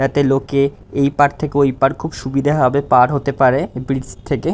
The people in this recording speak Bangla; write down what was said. যাতে লোকে এইপার থেকে ওইপার খুব সুবিধা ভাবে পার হতে পারে ব্রিজ থেকে।